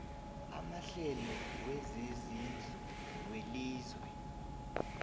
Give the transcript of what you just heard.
amahlelo wezezindlu welizwe